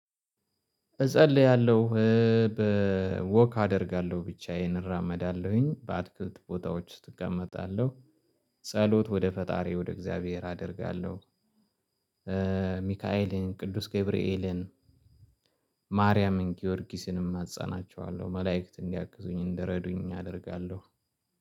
እጸልያለሁ። በወክ አደርጋለሁ ብቻዬን እራመዳለሁኝ በአትክልት ቦታዎች ትቀመጣለህ። ጸሎት ወደ ፈጣሪ ወደ እግዚአብሔር አደርጋለሁ። ሚካኤልን ቅዱስ ገብርኤልን። ማርያምን ጊዮርጊስንም አማጸናቸዋለሁ መላእክት እንዲያግዙኝ እንደረዱኝ አደርጋለሁ።